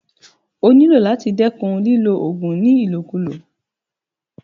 O nílò láti dẹ́kun ìlò oògùn ní ìlòkulò.